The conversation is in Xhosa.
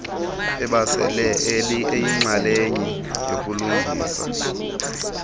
ebesele eyinxalenye yokulungiswa